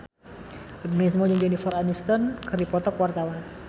Agnes Mo jeung Jennifer Aniston keur dipoto ku wartawan